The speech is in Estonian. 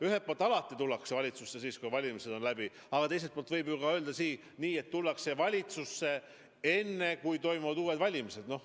Ühelt poolt alati tullakse valitsusse siis, kui valimised on läbi, aga teiselt poolt võib öelda nii, et tullakse valitsusse enne, kui toimuvad uued valimised.